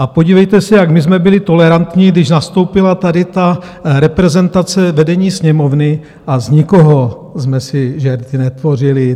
A podívejte se, jak my jsme byli tolerantní, když nastoupila tady ta reprezentace vedení Sněmovny, a z nikoho jsme si žerty netvořili.